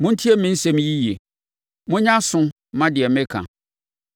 Montie me nsɛm yi yie; monyɛ aso mma deɛ meka.